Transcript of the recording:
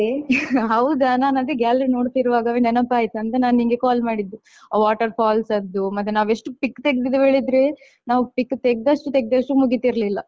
ಹೌದಾ ನನ್ ಅದೇ gallery ನೋಡುತ್ತಿರುವಾಗವೇ ನೆನಪಾಯಿತು ಅಂತ ನಾನ್ ನಿನ್ಗೆ call ಮಾಡಿದ್ದು ಆ water falls ಅದ್ದು ಮತ್ತೆ ನಾವೆಷ್ಟು pic ತೆಗೆದಿದ್ದೇವೆ ಹೇಳಿದ್ರೆ ನಾವ್ pic ತೆಗೆದಷ್ಟು ತೆಗೆದಷ್ಟು ಮುಗಿತಿರ್ಲಿಲ್ಲ.